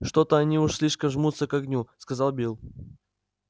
что то они уж слишком жмутся к огню сказал билл